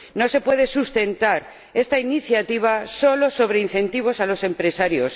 No se puede sustentar esta iniciativa solo sobre incentivos a los empresarios